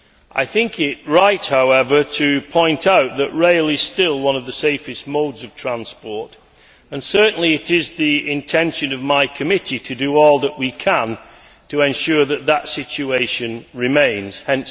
I think it right, however, to point out that rail is still one of the safest modes of transport and certainly it is the intention of my committee to do all that we can to ensure that this remains the case.